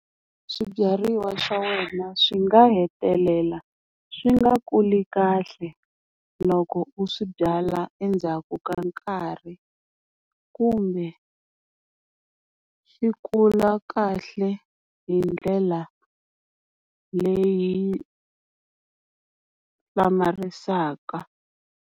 Swibyariwa swa wena swi nga hetelela swi nga kuli kahle, loko u swi byala endzhaku ka nkarhi kumbe swi kula kahle hi ndlela leyi hlamarisaka.